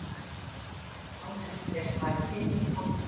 Á henni sést bæði himinn og jörð.